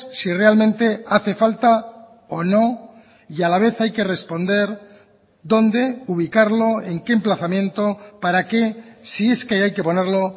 si realmente hace falta o no y a la vez hay que responder dónde ubicarlo en qué emplazamiento para que si es que hay que ponerlo